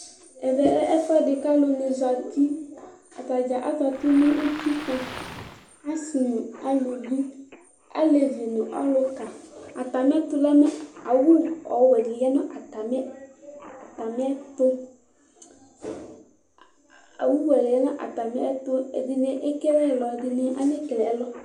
Ɛvɛ lɛ ɛfʋɛdi kʋ alʋ ni zati atadza akati nʋ utikpa asi nʋ alʋvi alevi nʋ ɔlʋka atami ɛkʋ la awʋ ɔwɛdi yanʋ atami ɛtʋ ɛdini ekele ɛlɔ ɛdini anakele ɛlɔ